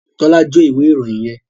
Tola jo ìwé ìròyìn yén.